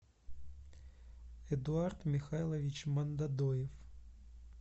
эдуард михайлович мандодоев